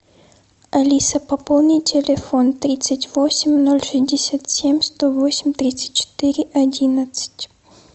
алиса пополни телефон тридцать восемь ноль шестьдесят семь сто восемь тридцать четыре одиннадцать